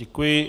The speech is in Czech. Děkuji.